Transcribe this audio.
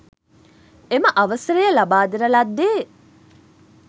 එම අවසරය ලබාදෙන ලද්දේ